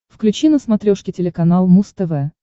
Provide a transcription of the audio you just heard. включи на смотрешке телеканал муз тв